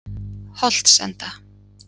Holtsenda